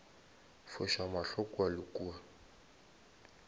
foša mahlo kua le kua